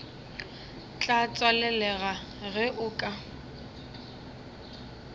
tla tswalelega ge o ka